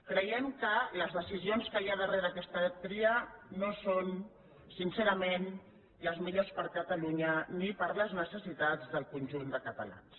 creiem que les decisions que hi ha darrere aquesta tria no són sincerament les millors per a catalunya ni per a les necessitats del conjunt de catalans